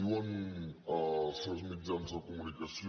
diuen certs mitjans de comunicació